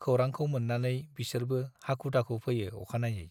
खौरांखौ मोन्नानै बिसोरबो हाखु-दुखु फैयो अखानायै।